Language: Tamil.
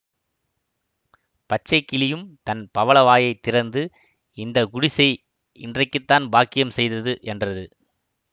பச்சை கிளியும் தன் பவளவாயைத் திறந்து இந்த குடிசை இன்றைக்கு தான் பாக்கியம் செய்தது என்றது